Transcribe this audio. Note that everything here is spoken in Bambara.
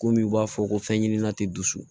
Komi u b'a fɔ ko fɛn ɲɛnama tɛ dusu